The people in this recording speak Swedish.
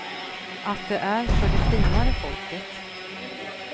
Att det är för det finare folket.